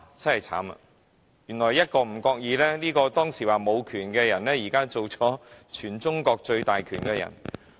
真的糟糕，當時被指沒有權的人，現卻已成為全中國權力最大的人。